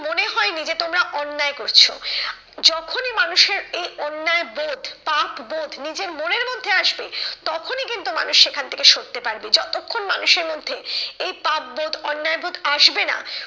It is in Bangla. মনে হয়নি যে তোমরা অন্যায় করছো। যখনি মানুষের এই অন্যায় বোধ পাপবোধ নিজের মনের মধ্যে আসবে তখনি কিন্তু মানুষ সেখান থেকে সরতে পারবে। যতক্ষণ মানুষের মধ্যে এই পাপবোধ অন্যায় বোধ আসবে না,